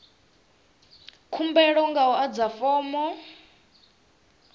khumbelo nga u adza fomo